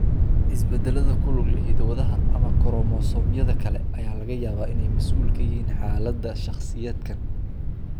Isbeddellada ku lug leh hiddo-wadaha ama koromosoomyada kale ayaa laga yaabaa inay mas'uul ka yihiin xaaladda shakhsiyaadkan.